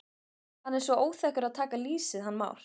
Hann er svo óþekkur að taka lýsið hann Már.